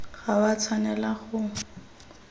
ga o a tshwanela go